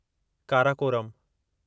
Karakoram